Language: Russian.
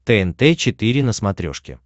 тнт четыре на смотрешке